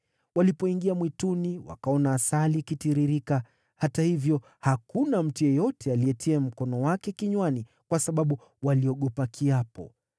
Walipoingia mwituni, wakaona asali ikitiririka, hata hivyo hakuna mtu yeyote aliyetia mkono wake kinywani, kwa sababu waliogopa kiapo.